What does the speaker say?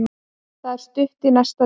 Það er stutt í næsta leik.